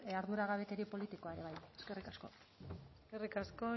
arduragabekeria politikoa ere bai eskerrik asko eskerrik asko